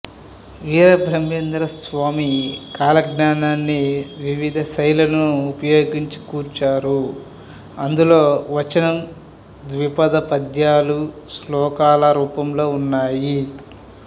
వీర బ్రహ్మేంద్ర స్వామి కాలజ్ఞానాన్ని వివిధ శైలులను ఉపయోగించి కూర్చారు అందులో వచనం ద్విపద పద్యాలు శ్లోకాల రూపంలో వున్నాయి